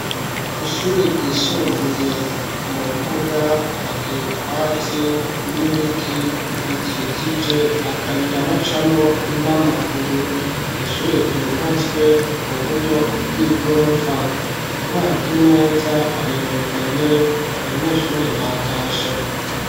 Ishure ryisumbuye, mu mbuga hateye Utwatsi ,n'ibiti, bikikije, akayirabacamwo n'amaguru, n'Ishure ryubatswe kuburyo bw'Igorofa, uravye neza rirugaye Abanyeshure batashe.